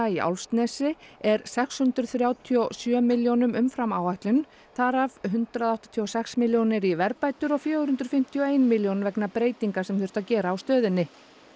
í Álfsnesi er sex hundruð þrjátíu og sjö milljónum umfram áætlun þar af hundrað áttatíu og sex milljónir í verðbætur og fjögur hundruð fimmtíu og ein milljón vegna breytinga sem þurfti að gera á stöðinni